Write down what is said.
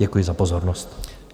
Děkuji za pozornost.